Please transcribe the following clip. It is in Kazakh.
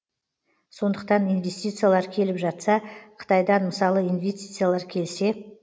сондықтан инвестициялар келіп жатса қытайдан мысалы инвестициялар келсе